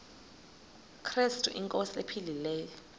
krestu inkosi ephilileyo